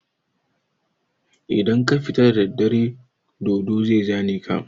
Idan ka fita da daddare dodo zai zane ka.